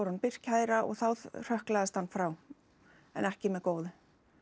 honum birt kæra og þá hrökklaðist hann frá en ekki með góðu